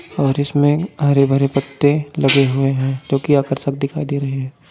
और इसमें हरे भरे पत्ते लगे हुए हैं जो की आकर्षक दिखाई दे रहे हैं ।